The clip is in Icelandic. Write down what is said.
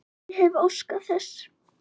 Ég hefði óskað þess.